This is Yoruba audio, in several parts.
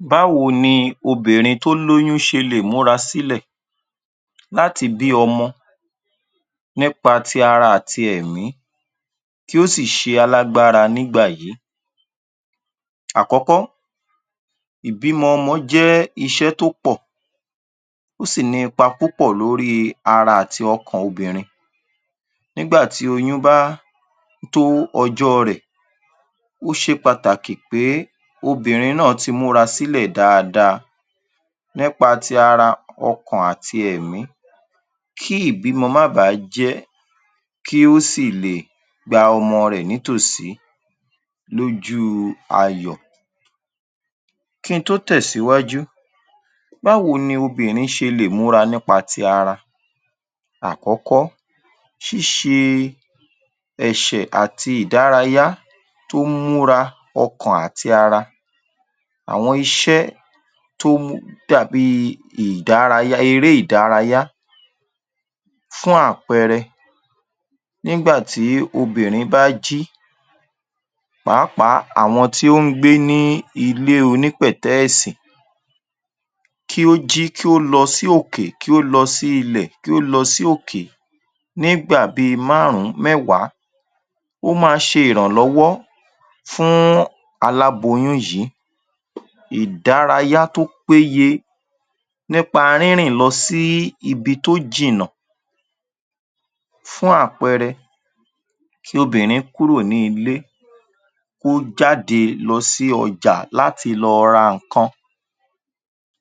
Báwo ni obìnrin tó lóyún ṣe lè múra sílẹ̀ láti bí ọmọ nípa ti ara àti ẹ̀mí tí ó sì ṣe alágbára nígbà yí? Àkọ́kọ́ ìbímọ ọmọ jẹ́ iṣẹ́ tó pọ̀ ó sì ní ipa púpọ̀ lórí i ara àti ọkàn obìnrin nígbà tí oyún bá tó ọjọ́ ọ rẹ̀ ó ṣe pàtàkì pé obìnrin náà ti múra sílẹ̀ dáadáa nípa ti ara ọkàn àti ẹ̀mí kí ìbímọ má ba à á jẹ́ kí ó sì lè gba ọmọ rẹ̀ nítòsí lójú u ayọ̀. Kí n tó tẹ̀ síwájú, báwo ni obìnrin ṣe lè múra nípa ti ara? Àkọ́kọ́ ṣíṣẹ ẹṣẹ̀ àti ìdárayá tó ń múra ọkàn àti ara àwọn iṣẹ́ tó mú tó dà bí ìdárayá eré ìdárayá fún àpẹẹrẹ nígbà tí obìnrin bá jí pàápàá àwọn tí ó ń gbé ilé onípẹ̀tẹ́ẹ̀sì kí ó jí kí ó lọ sí òkè, kí ó lọ sí ilẹ̀, kí ó lọ sí òkè nígbà bí i márùn-ún mẹ́wàá ó máa ṣe ìrànlọ́wọ́ fún aláboyún yìí ìdárayá tó péye nípa rínrìn lọ sí ibi tó jìnà fún àpẹẹrẹ kí obìnrin kúrò ní ilé kó jáde lọ sí ọjà láti lọ ra ǹkan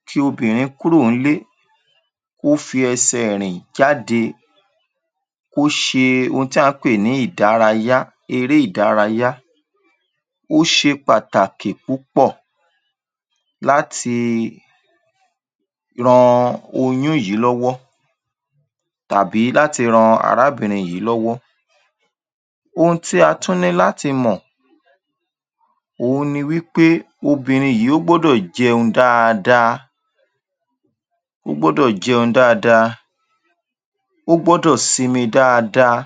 kí obìnrin kúrò ń’lé kó fi ẹsẹ̀ rìn jáde kó ṣe ohun tí à ń pè ní ìdárayá eré ìdárayá ó ṣe pàtàkì púpọ̀ láti ran oyún yìí lọ́wọ́ tàbí láti ran arábìnrin yìí lọ́wọ́. Ohun tí a tún ní láti mọ̀ òhun ni wí pé obinrin yìí ó gbọ́dọ̀ jẹun dáadáa, ó gbọ́dọ̀ sinmi dáadáa,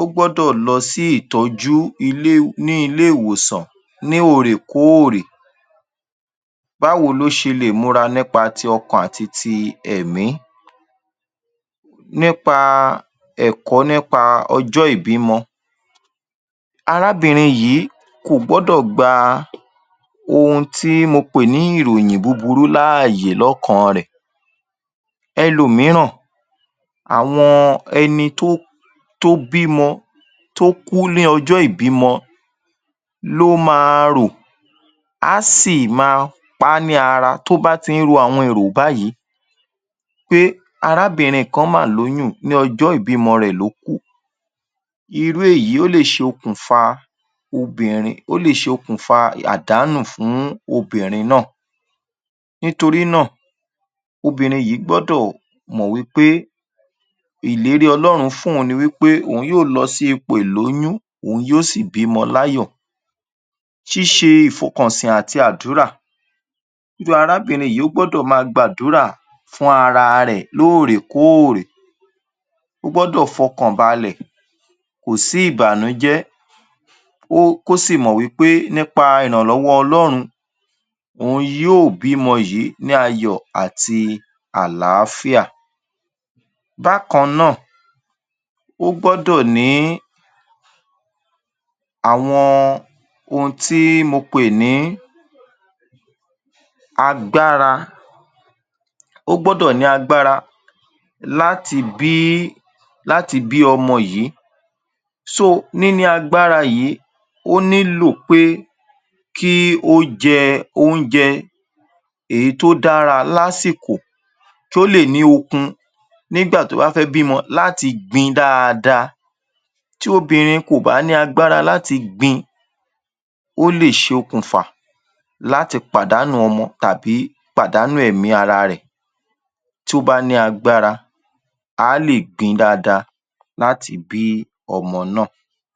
ó gbọ́dọ̀ lọ sí ìtọ́jú ilé ní ilé-ìwòsàn ní óòrèkóòrè. Báwo ló ṣe lè múra nípa ti ọkàn àti ti ẹ̀mí? Nípa ẹ̀kọ́ nípa ọjọ́ ìbímọ. Arábìnrin yìí kò gọ́dọ̀ gba ohun tí mo pè ní ìròyìn búburú láàyè lọ́kàn-an rẹ̀. Elòmíràn àwọn ẹni tó bímọ́ tó kú ní ọjọ́ ìbímọ ló ma rò á sì ma ta á ní ara tó bá ti ń ro àwọn èrò báyìí pé arábìnrin kan mà lóyún ní ọjọ́ ìbímọ rẹ̀ ló kú. Irú èyí lè ṣokùnfà obìnrin ó lè ṣokùnfà àdánù fún obìnrin náà. Nítorí náà obìnrin yìí gbọ́dọ̀ mọ̀ wí pé ìlérí ọlọ́run fún òun ni wí pé òun yóò lọ sí ipò ìlóyún òun yóò sì bímọ láyò. Ṣíṣe ìfòkànsìn àti àdúrà irú arábìnrin yìí ó gbọ́dọ̀ máa gbàdúrà fún ara rẹ̀ lóòrèkóòrè ó gbọ́dọ̀ fọkàn balẹ̀ kò sí ìbànújẹ́ kó sì mọ̀ pé nípa ìrànlọ́wọ́ Ọlọ́run òun yóò bímọ yìí ní ayọ̀ àti àlááfíà. Bákan náà, ó gbọ́dọ̀ ní àwọn ohun tí mo pẹ̀ ní agbára ó gbọ́dọ̀ ní agbára láti bí ọmọ yìí. So níní agbára yìí ó nílò pé kí ó jẹ oúnjẹ èyí tó dára laṣìkò kí ó lè ní okun nígbà tó bá fẹ́ bímọ láti gbin dáadáa tí obìnrin kò bá ní agbára láti gbin ó lè ṣokùnfà láti pàdánu ọmọ tàbí pàdánù ẹ̀mí ara rẹ̀ tí ó bá ní agbára á lè gbin dáadáa láti bí ọmọ náà.